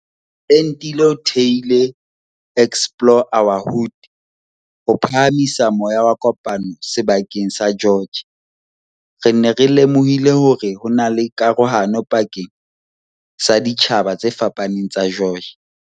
Entile o thehile Explore our Hood ho phaha misa moya wa kopano seba keng sa George. "Re ne re lemohile hore hona le karohano pakeng sa ditjhaba tse fapaneng tsa George."